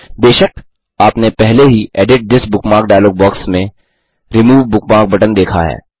बेशक आपने पहले ही edit this bookmark dialog box में रिमूव बुकमार्क बटन देखा है